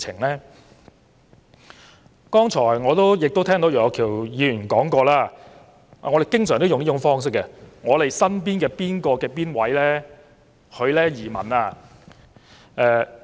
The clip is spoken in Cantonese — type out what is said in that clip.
我剛才亦聽到楊岳橋議員提及——我們經常也採用這種方式——我們身邊的某某移民了。